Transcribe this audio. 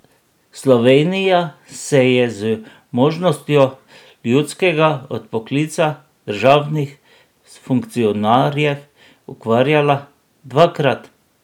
Slovenija se je z možnostjo ljudskega odpoklica državnih funkcionarjev ukvarjala dvakrat.